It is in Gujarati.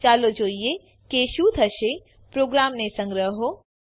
ચાલો જોઈએ કે શું થશે પ્રોગ્રામને સંગ્રહો